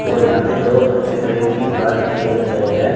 और यहां पे दो बच्चे ट्रेन की बाट देख रहे हैं।